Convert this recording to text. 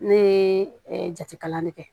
Ne ye jati kalan ne kɛ